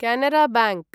Canara bank